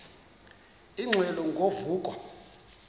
ingxelo ngo vuko